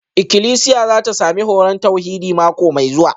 Ikilisiya za ta sami horon tauhidi mako mai zuwa